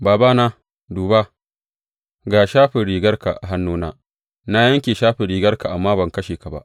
Babana, duba, ga shafin rigarka a hannuna, na yanke shafin rigarka amma ban kashe ka ba.